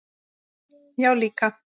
Já, líka.